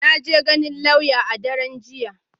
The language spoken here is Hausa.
Na je ganin lauya a daren jiya.